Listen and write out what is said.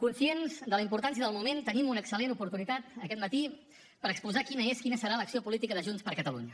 conscients de la importància del moment tenim una excel·lent oportunitat aquest matí per exposar quina és quina serà l’acció política de junts per catalunya